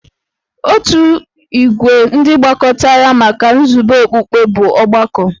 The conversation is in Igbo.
Otu ìgwè ndị gbakọtara maka nzube okpukpe bụ ọgbakọ.